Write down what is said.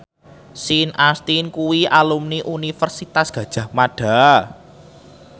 Sean Astin kuwi alumni Universitas Gadjah Mada